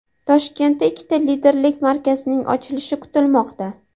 Toshkentda ikkita dilerlik markazining ochilishi kutilmoqda.